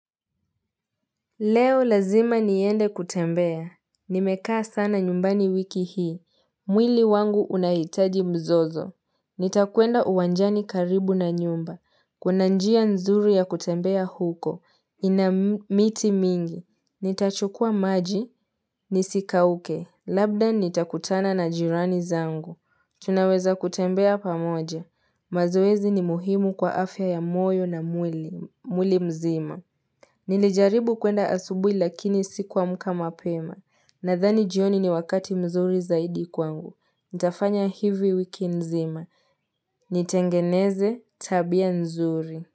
Leo lazima niende kutembea, nimekaa sana nyumbani wiki hii, mwili wangu unahitaji mzozo, nitakwenda uwanjani karibu na nyumba, kuna njia nzuri ya kutembea huko, inamiti mingi, nitachukua maji, nisikauke, labda nitakutana na jirani zangu, tunaweza kutembea pamoja, mazoezi ni muhimu kwa afya ya moyo na mwili mzima. Nili jaribu kuenda asubui lakini sikuamka mapema nadhani jioni ni wakati mzuri zaidi kwangu. Nitafanya hivi wiki nzima. Nitengeneze tabia nzuri.